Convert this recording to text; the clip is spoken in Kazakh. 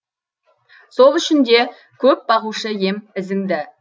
сол үшін де көп бағушы ем ізіңді